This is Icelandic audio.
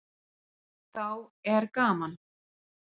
Þá er gaman.